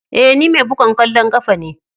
Eh, ni mai bugan kwallon kafa ce.